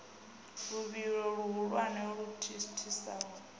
luvhilo luhulwane u thithisa u